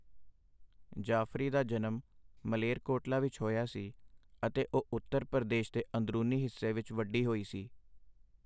ਜਾਫਰੀ ਦਾ ਜਨਮ ਮਾਲੇਰਕੋਟਲਾ ਵਿੱਚ ਹੋਇਆ ਸੀ ਅਤੇ ਉਹ ਉੱਤਰ ਪ੍ਰਦੇਸ਼ ਦੇ ਅੰਦਰੂਨੀ ਹਿੱਸੇ ਵਿੱਚ ਵੱਡੀ ਹੋਈ ਸੀ।